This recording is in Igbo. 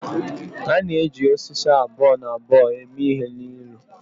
a na-eji osisi abụọ na abụọ eme ihe n'elu ụlọ